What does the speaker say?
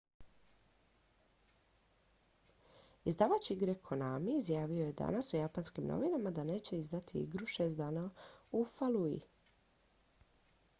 izdavač igre konami izjavio je danas u japanskim novinama da neće izdati igru šest dana u falluji